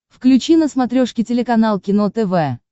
включи на смотрешке телеканал кино тв